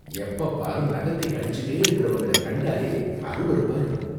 எப்பப்பாரும் நகத்தை கடிச்சிக்கிட்டே இருக்கிறவங்கள கண்டாலே அருவருப்பா இருக்கும்.